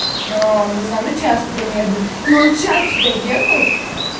не знаю ну час примерно и он час сюда ехал